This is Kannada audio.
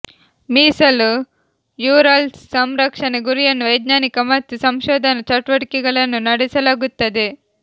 ಮೀಸಲು ಯುರಲ್ಸ್ ಸಂರಕ್ಷಣೆ ಗುರಿಯನ್ನು ವೈಜ್ಞಾನಿಕ ಮತ್ತು ಸಂಶೋಧನಾ ಚಟುವಟಿಕೆಗಳನ್ನು ನಡೆಸಲಾಗುತ್ತದೆ